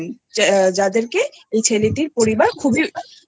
থাকতেন যাদেরকে এই ছেলেটির পরিবার খুবই